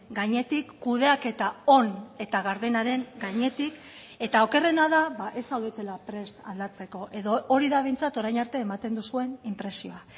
gainetik kudeaketa on eta gardenaren gainetik eta okerrena da ez zaudetela prest aldatzeko edo hori da behintzat orain arte ematen duzuen inpresioa